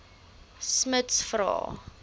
smuts vra